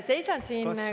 Seisan siin ...